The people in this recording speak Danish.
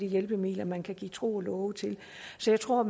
hjælpemidler man kan give tro og love til så jeg tror